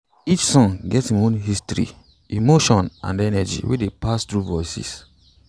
each song get im own history emotion and energy wey dey pass through voices